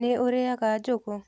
Nĩ ũrĩaga njũgũ.